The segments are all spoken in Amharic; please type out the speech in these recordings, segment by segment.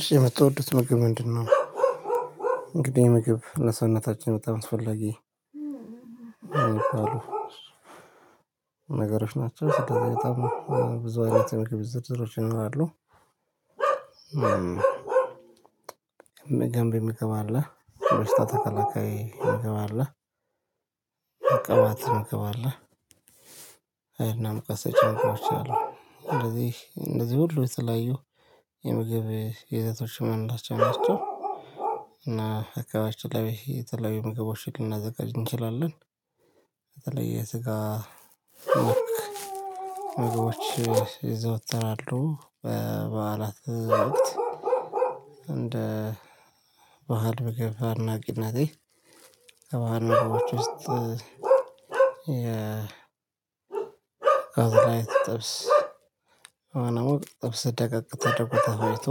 እሺ የምትወዱት ምግብ ምንድነው? እንግዲህ ምግብ ለሰውነታችን በጣም አስፈላጊ ነገሮች ናቸው ስታዘጋጅ ብዙ አይነት የምግብ ዝርዝሮች ይኖራሉ። ገንቢ ምግብ አለ በሽታ ተከላካይ ምግብ አለ። ቅባት ትምገባለህ ሀይልና ሙቀት ሰጪ ምግቦች አሉ። እነዚህ እነዚህ ሁሉ የተለያዩ የምግብ ይዘቶች የምንላቸው ናቸው። እና አካባቢያችን ላይ የተለያዩ የምግቦችን ልናዘጋጅ እንችላለን። በተለይ የስጋ መልክ ምግቦች ይዘወተራሉ በበዓላት እንደ በዓል ምግብና ከባህል ምግቦች ውስጥ አሁን ላይ ስጠብስ አሁን አሁን ጥብስ ደቀቅ ተደርጎ ተፈጭቶ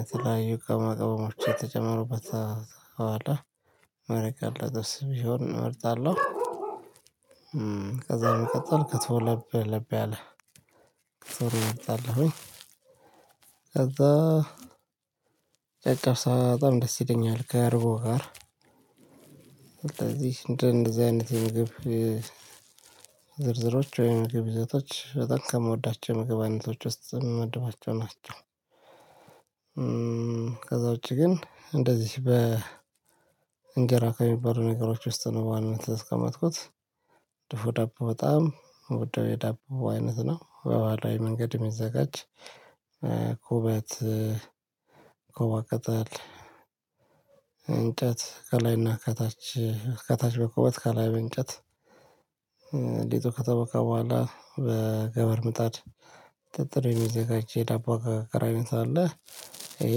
የተለያዩ ቅመማ ቅመሞች የተጨመሩበት መረቅ ያለው ጥብስ ቢሆን እመርጣለሁ። ከዛ በመቀጠል ክትፎ ለብ ለብ ያለ ክትፎን እመርጣለሁኝ። ከዛ ጨጨብሳ በጣም ደስ ይለኛል ከርጎ ጋር። ስለዚህ እንደነዚህ አይነት የምግብ ወይም የምግብ ዘይቶች በጣም ከምወዳቸው የምግብ አይነቶች ውስጥ የምመድባቸው ናቸው። ከዛ ውጪ ግን እንደዚህ በእንጀራ ከሚበሉ ነገሮች ውስጥ ነው በዋናነት ያስቀመጥኩት። ድፎ ዳቦ በጣም የምወደው የዳቦ አይነት ነው። በባህላዊ መንገድ የሚዘጋጅ ኩበት ኮባ ቅጠል እንጨት ከላይና ከታች ከታች በቁመት ከላይ በእንጨት ከተቦካ በኋላ በገመድ ምጣድ ጥጥር የሚዘጋጅ የዳቦ አገጋር አይነት አለ። ይሄ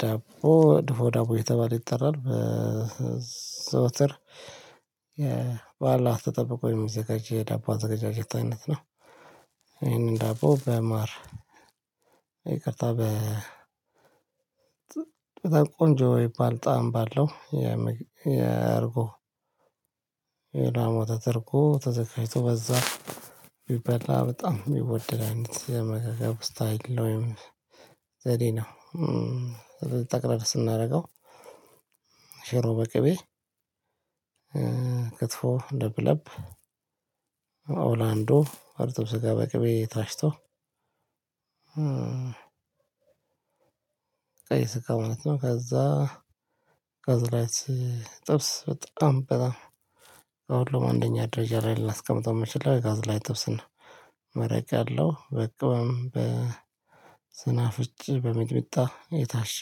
ዳቦ ዱፎ ዳቦ እየተባለ ይጠራል። በዘወትር በኋላ ተጠብቆ የሚዘጋጅ የዳቦ አዘጋጃጀት አይነት ነው። ይሄንን ዳቦ በማር ይቅርታ በጣም ቆንጆ የሚባል ጣዕም ባለው የእርጎ የላም ወተት እርጎ ተዘጋጅቶ በዛ ቢበላ በጣም የሚወደድ አይነት የአመጋገብ ስታይል ነው። ወይም ዘዴ ነው። ጠቅለል ስናደርገው ሽሮ በቅቤ ክትፎ ለብለብ ኦላንዶ እርጥብ ስጋ በቅቤ ታሽቶ። ቀይ ስጋው ማለት ነው። ከዛ ላይት ጥብስ በጣም በጣም ከሁሉም አንደኛ ደረጃ ላይ ላስቀምጠው የምችለው የጋዝ ላይ ጥብስን ነው። መረቅ ያለው በቅመም በስናፍጭ በሚጥሚጣ የታሸ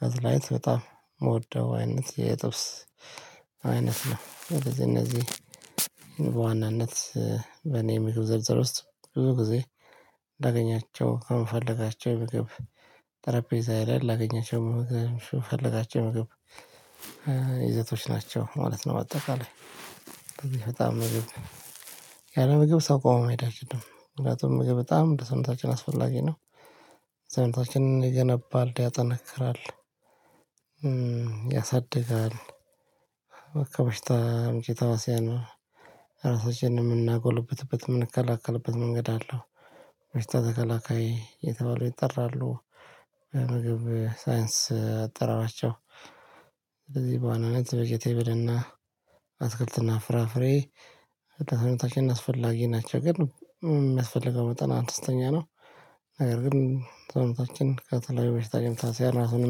ጋዝላይት በጣም የምወደው አይነት የጥብስ አይነት ነው። እነዚህ እነዚህ በዋናነት በኔ የምግብ ዝርዝር ውስጥ ብዙ ጊዜ ላገኛቸው ከምፈልጋቸው የምግብ ጠረጴዛዬ ላይ ላገኛቸው ምግብ የምፈልጋቸው የምግብ ይዘቶች ናቸው ማለት ነው። አጠቃላይ በጣም ምግብ ያለምግብ ሰው ቆሞ መሄድ አይችልም ምክንያቱም ምግብ በጣም ለሰውነታችን አስፈላጊ ነው። ሰውነታችንን ይገነባል ያጠነክራል። ያሳድጋል ከበሽታ አምጪ ተህዋስያን ነው። ራሳችንን የምናጎልበትበት የምንከላከልበት መንገድ አለው። በሽታ ተከላካይ እየተባሉ ይጠራሉ። ምግብ ሳይንስ አጠራራቸው። ስለዚህ በዋናነት ቪጂቴብልና አትክልትና ፍራፍሬ ለሰውነታችንን አስፈላጊ ናቸው። ግን የሚያስፈልገው መጠን አነስተኛ ነው። ነገር ግን ሰውነታችን ከተለያዩ በሽታ ተህዋሲያን ራሱን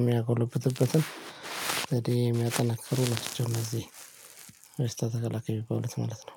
የሚያጎለብትበትን ዘዴ የሚያጠናክሩ ናቸው። እነዚህ በሽታ ተከላካይ የሚባሉት ማለት ነው